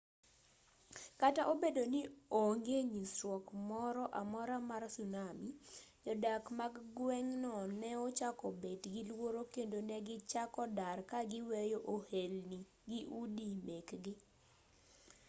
kata obedo ni ne onge nyisruok moro amora mar tsunami jodak mag gweng'no ne ochako bet gi luoro kendo negichako dar ka giweyo ohelni gi udi mekgi